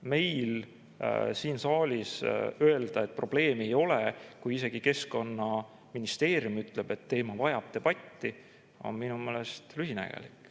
Meil siin saalis öelda, et probleemi ei ole, kui isegi Keskkonnaministeerium ütleb, et teema vajab debatti, on minu meelest lühinägelik.